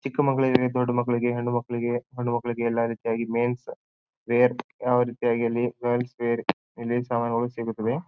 ಚಿಕ್ಕ ಮಕ್ಕಳಿಗೆ ದೊಡ್ಡ ಮಕ್ಕಳಿಗೆ ಹೆಣ್ಣು ಮಕ್ಕಳಿಗೆ ಸಣ್ಣ ಮಕ್ಕಳಿಗೆ ಎಲ್ಲಾ ರೀತಿಯಾಗಿ ಮೆನ್ಸ್ ವೆರ್ ಯಾವ್ ರೀತಿಯಾಗಿ ಅಲ್ಲಿ ಮೆನ್ಸ್ ವೆರ್ ಇಲ್ಲಿನ್ ಸಾಮಾನ್ ಗಳು ಸಿಗುತ್ತವೆ.